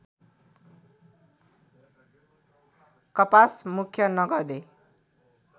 कपास मुख्य नगदे